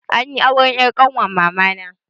Anyi auren 'yar ƙanwar mamana.